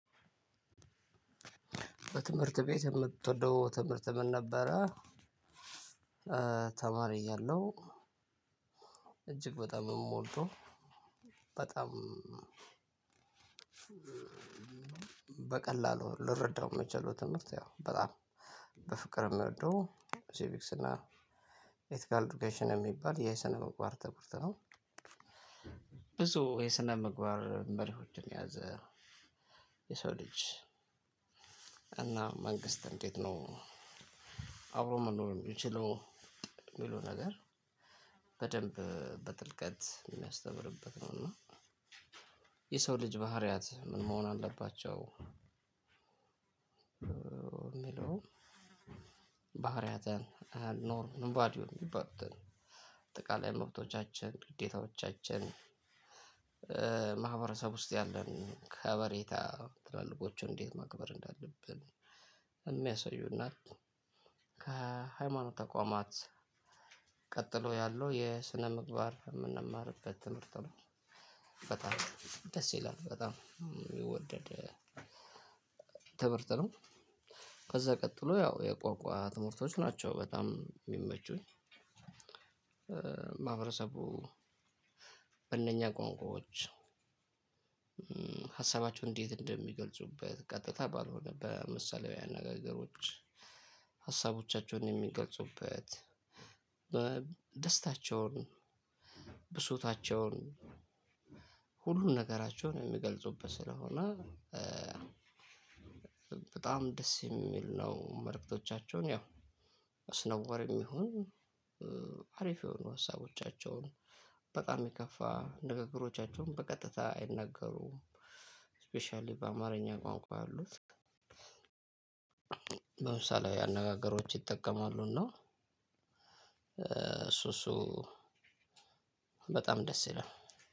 በትምህርት ቤት የምትወደው ትምህርት ምን ነበረ? ተማሪ እያለሁ። እጅግ በጣም ምወደው። በጣም። በቀላሉ ልረዳው ምችለው ትምህርት ያው በጣም በፍቅር ምወደው ሴቪክስ እና ኢትካል ዱኬሽን ሚባል የስነ ምግባር ትምህርት ነው። ብዙ የስነምግባር መርሆችን የያዘ የሰው ልጅ እና መንግስት እንዴት ነው? አብሮ መኖር ሚችለው ሚለው ነገር። በደንብ በጥልቀት ሚያስተምርበት ነው እና የሰው ልጅ ባህሪያት ምን መሆን አለባቸው? ሚለው ባህሪያት አልኖርም ባዲዮ ሚባሉትን አጠቃላይ መብቶቻችን ግዴታዎቻችን። ማህበረሰብ ውስጥ ያለን ከበሬታ ትላልቆቹን እንዴት ማክበር እንዳለብን። እሚያሲዩ እና ከሃይማኖት ተቋማት ቀጥሎ ያለው የስነምግባር ምንማርበት ትምህርት ነው። ይፈታል ደስ ይላል በጣም ሚወደድ ትምህርት ነው። ከዛ ቀጥሎ ያው የቋንቋ ትምህርቶች ናቸው በጣም ሚመቹኝ። ማህበረሰቡ በእነኛ ቋንቋዎች ሀሳባቸው እንዴት እንደሚገልጹበት ቀጥታ ባልሆነ በምሳሌያዊ አነጋገሮች ሀሳቦቻቸውን የሚገልጹበት። ደስታቸውን ብሱታቸውን ሁሉን ነገራቸውን ሚገልጹበት ስለሆነ። በጣም ደስ የሚል ነው። መልክቶቻችን ያው አስነዋሪም ይሁን አሪፍ የሆኑ ሀሳቦቻቸውን በጣም የከፋ ንግግሮቻቸውን በቀጥታ አይናገሩም። ስፔሻሊ በአማርኛ ቋንቋ ያሉት አሉት። በምሳሌ አነጋገሮች ይጠቀማሉ እና እሱእሱ በጣም ደስ ይላል።